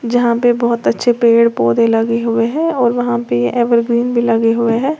यहां पे बहुत अच्छे पेड़ पौधे लगे हुए हैं और वहां पे एवरग्रीन भी लगे हुए हैं।